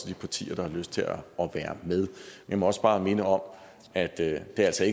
de partier der har lyst til at være med jeg må også bare minde om at det altså